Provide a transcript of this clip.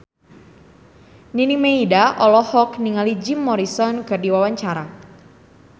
Nining Meida olohok ningali Jim Morrison keur diwawancara